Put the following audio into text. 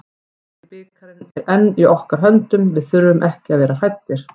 Bikarinn er enn í okkar höndum, við þurfum ekki að vera hræddir.